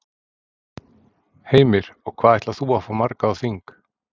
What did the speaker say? Heimir: Og hvað ætlar þú að fá marga á þing?